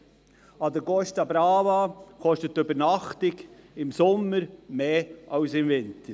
An der Costa Brava kostet die Übernachtung im Sommer mehr als im Winter.